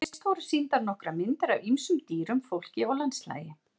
Fyrst voru sýndar nokkrar myndir af ýmsum dýrum, fólki og landslagi.